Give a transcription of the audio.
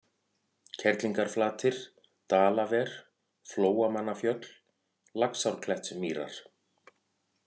Kerlingarflatir, Dalaver, Flóamannafjöll, Laxárklettsmýrar